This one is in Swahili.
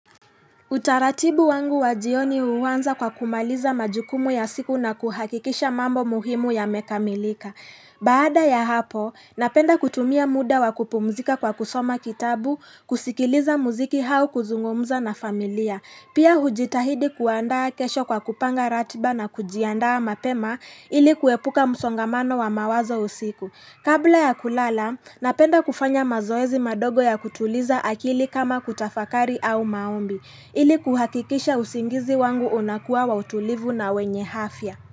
Utaratibu wangu wa jioni huanza kwa kumaliza majukumu ya siku na kuhakikisha mambo muhimu yamekamilika. Baada ya hapo, napenda kutumia muda wa kupumzika kwa kusoma kitabu, kusikiliza mziki au kuzungumza na familia. Pia hujitahidi kuandaa kesho kwa kupanga ratiba na kujiandaa mapema ili kuepuka msongamano wa mawazo usiku. Kabla ya kulala, napenda kufanya mazoezi madogo ya kutuliza akili kama kutafakari au maombi. Ili kuhakikisha usingizi wangu unakuwa wa utulivu na wenye afya.